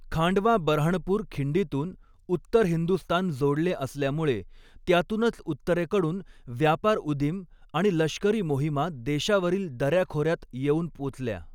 खांडवा बऱ्हाणपूर खिंडीतून उत्तर हिंदुस्तान जोडले असल्यामुळे त्यातूनच उत्तरेकडून व्यापारउदीम आणि लष्करी मोहिमा देशावरील दऱ्या खोऱ्यात येऊन पोचल्या.